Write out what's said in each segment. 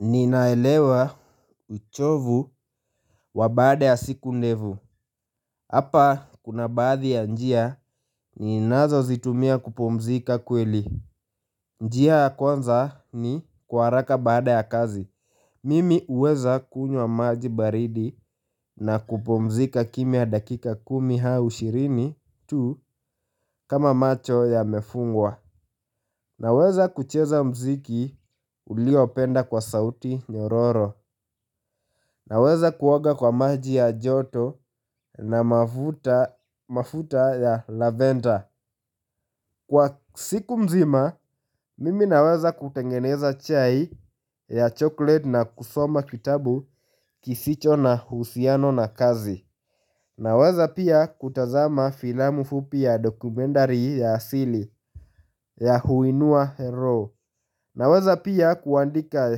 Ninaelewa uchovu wa baada ya siku ndevu. Hapa kuna baadhi ya njia ninazo zitumia kupumzika kweli. Njia ya kwanza ni kwa araka baada ya kazi. Mimi uweza kunywa maji baridi na kupumzika kimya dakika kumi hau ishirini tu kama macho y mefungwa naweza kucheza mziki uliopenda kwa sauti nyororo. Naweza kuoga kwa maji ya joto na mafuta ya lavender. Kwa siku mzima, mimi naweza kutengeneza chai ya chocolate na kusoma kitabu kisicho na uhusiano na kazi. Naweza pia kutazama filamu fupi ya dokumentari ya asili ya huinua hero. Naweza pia kuandika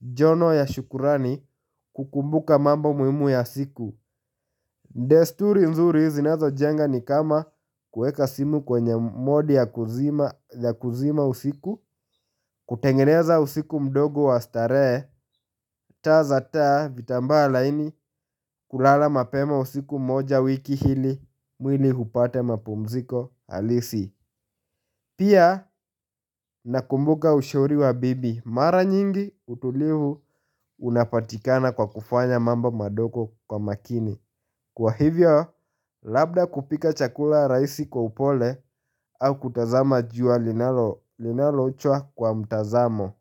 jono ya shukurani kukumbuka mambo muimu ya siku. Ndesturi nzuri zinazo jenga ni kama kueka simu kwenye modi ya kuzima usiku, kutengeneza usiku mdogo wa starehe, taa za taa vitambala ini kulala mapema usiku moja wiki hili mwili hupate mapumziko alisi. Pia nakumbuka ushauri wa bibi mara nyingi utulivu unapatikana kwa kufanya mambo madogo kwa makini. Kwa hivyo, labda kupika chakula raisi kwa upole au kutazama jua linalochua kwa mtazamo.